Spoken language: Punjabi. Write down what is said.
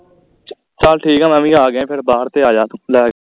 ਚਲ ਠੀਕ ਆ ਮੈ ਵੀ ਆ ਗਿਆ ਫਿਰ ਬਾਹਰ ਤੇ ਆਜਾ ਤੂੰ ਲੈ ਕੇ